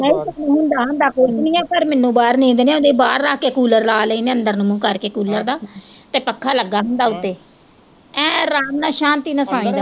ਨਹੀਂ ਤੈਨੂੰ ਹੁੰਦਾ ਹੁੰਦਾ ਪਰ ਮੈਨੂੰ ਬਾਹਰ ਨੀਂਦ ਨੀ ਆਉਂਦੀ ਬਾਹਰ ਰੱਖ ਕੇ ਕੂਲਰ ਲਾ ਲੈਨੇ ਅੰਦਰ ਨੂੰ ਮੂੰਹ ਕਰਕੇ ਕੂਲਰ ਦਾ ਤੇ ਪੱਖਾ ਲੱਗਾ ਹੁੰਦਾ ਉੱਤੇ, ਐਂ ਆਰਾਮ ਨਾਲ ਸ਼ਾਂਤੀ ਨਾਲ ਸੋਈਂਦਾ।